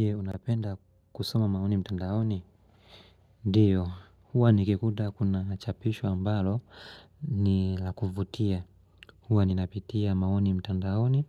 Je, unapenda kusoma maoni mtandaoni? Ndiyo, huwa nikikuta kunachapisho ambalo ni lakuvutia. Huwa ninapitia maoni mtandaoni,